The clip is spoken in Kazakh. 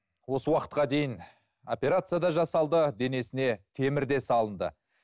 осы уақытқа дейін операция да жасалды денесіне темір де салынды